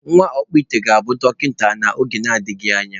Nwa ọkpụite ga-abụ dọkịta n’oge na-adịghị anya